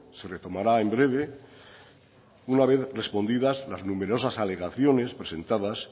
se retomará en breve una vez respondidas las numerosas alegaciones presentadas